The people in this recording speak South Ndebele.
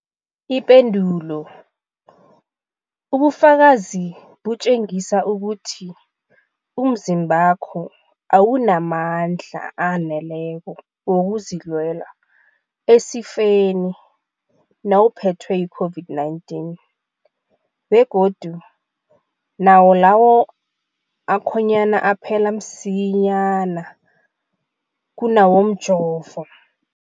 Ipendulo, ubufakazi butjengisa ukuthi umzimbakho awunamandla aneleko wokuzilwela esifeni nawuphethwe yi-COVID-19, begodu nawo lawo akhonyana aphela msinyana kunawomjovo.